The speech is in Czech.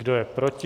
Kdo je proti?